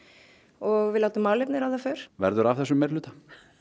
og við láta málefnin ráða för verður af þessum meirihluta